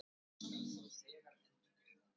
Var það aðallega Pjetur